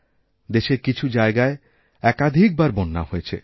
দেশের কিছু জায়গায় একাধিকবার বন্যা হয়েছে